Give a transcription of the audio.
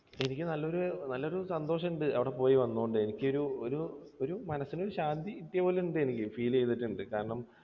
ശരിക്കും നല്ലൊരു, നല്ലൊരു സന്തോഷമുണ്ട് അവിടെ പോയി വന്നത് കൊണ്ട്. എനിക്ക് ഒരു, ഒരു ഒരു മനസ്സിനൊരു ശാന്തി കിട്ടിയ പോലെയുണ്ട്. എനിക്ക് feel ചെയ്തിട്ടുണ്ട്. കാരണം